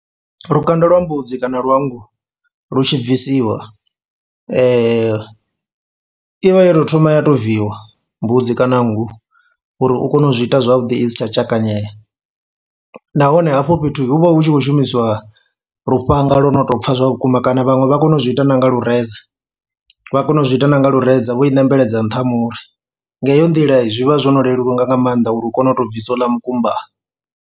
Lukanda lwa mbudzi kana lwa nngu lu tshi bvisiwa i vha yo tou thoma ya tou viiwa mbudzi kana nngu uri u kone u zwi ita zwavhuḓi i si tsha tshakanyela nahone hafho fhethu hu vha hu tshi khou shumiswa lufhanga lwo no tou pfha zwa vhukuma kana vhaṅwe vha kona u zwi ita na nga lureza vha kona u zwi ita na nga lureza vho ṋembedza nṱha ha muri nga heyo nḓila zwi vha zwo no leluwa nga nga maanḓa uri hu kone u tou bvisa houḽa mukumba.